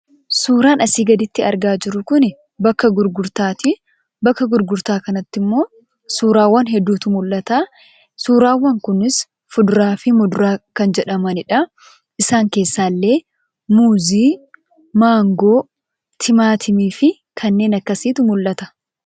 Suuraan asiin gaditti arginu kun, bakka gurgurtaati. Bakka gurgurtaa kanatti immoo suurawwan hedduutu mul'ata. Suuraan kunis fuduraa fi muduraa kan jedhamanidha. Isaanis kanneen akkam muuzii, maangoo, timaatimii fi kanneen kana fakkaatantu mul'ata.